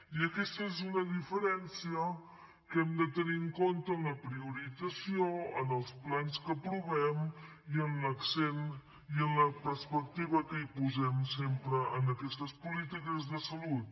i aquesta és una diferència que hem de tenir en compte en la priorització en els plans que aprovem i en l’accent i en la perspectiva que hi posem sempre en aquestes polítiques de salut